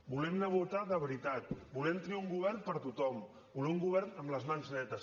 volem anar a votar de veritat volem tenir un govern per a tothom volem un govern amb les mans netes